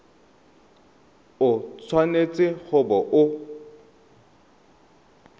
o tshwanetse go bo o